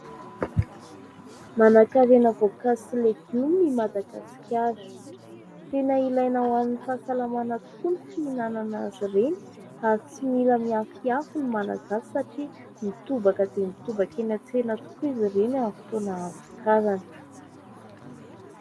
Manan-karena voankazo sy legioma i Madagasikara. Tena ilaina ho an'ny fahasalamana tokoa ny fihinanana azy ireny, ary tsy mila miafiafy ny Malagasy satria mitobaka dia mitobaka eny an-tsena tokoa izy ireny amin'ny fotoana ahavokarany.